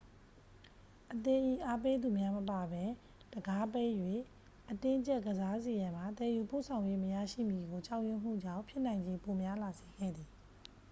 အသင်း၏ အားပေးသူများမပါဘဲ တံခါးပိတ်၍ အတင်းကြပ်ကစားစေရန်မှာ သယ်ယူပို့ဆောင်ရေး မရရှိမည်ကို ကြောက်ရွံ့မှုကြောင့် ဖြစ်နိုင်ချေပိုများလာစေခဲ့သည်